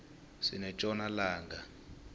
sinetjona langa